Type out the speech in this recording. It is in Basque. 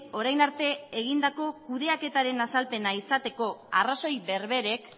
orain arte egindako kudeaketaren azalpena izateko arrazoi berberek